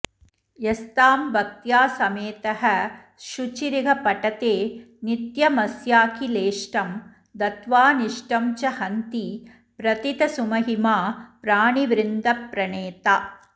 यस्तां भक्त्या समेतः शुचिरिह पठते नित्यमस्याखिलेष्टं दत्वानिष्टं च हन्ति प्रथितसुमहिमा प्राणिवृन्दप्रणेता